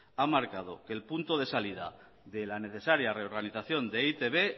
ha marcado el punto de salida de la necesaria reorganización de e i te be